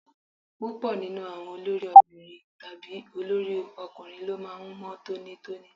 Púpọ̀ nínú àwọn olórí obìnrin tàbí olórí obìnrin ló máa ń mọ́ tónítóní.